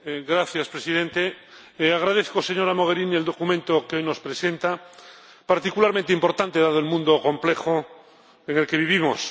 Señor Presidente, agradezco, señora Mogherini, el documento que hoy nos presenta, particularmente importante dado el mundo complejo en el que vivimos.